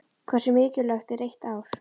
Hversu mikilvægt er eitt ár?